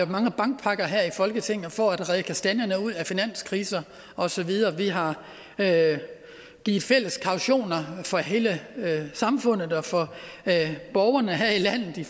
mange bankpakker her i folketinget for at redde kastanjerne ud af finanskriser og så videre vi har givet fælles kautioner for hele samfundet og for borgerne her i landet i